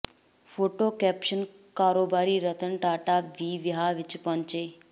photo caption ਕਾਰੋਬਾਰੀ ਰਤਨ ਟਾਟਾ ਵੀ ਵਿਆਹ ਵਿੱਚ ਪਹੁੰਚੇ